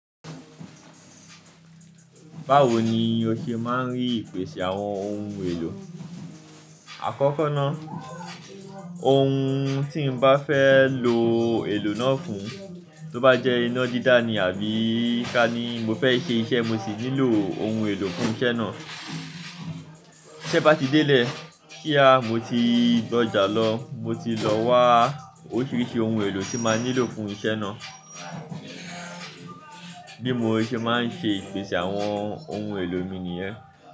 Báwo ni o ṣe máa ń rí ìpèsè àwọn ohun èlò? Àkọ́kọ́ ná, ohun tí n bá fẹ́ lo èlò náà fún, tó bá jẹ́ iná dídá ni àbí ká ní mo fẹ́ ṣe iṣẹ́ mo sì nílò ohun èlò fún iṣẹ́ náà. Iṣẹ́ bá ti délé, kíá mo ti gbọ́jà lọ, mo ti lọ wá oríṣiríṣi ohun èlò tí máa nílò fún iṣẹ́ náà. Bí mo ṣe máa ń ṣe ìpèsè àwọn ohun èlò mi nìyẹn.